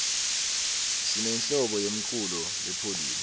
sinenhlobo yemculo lepholile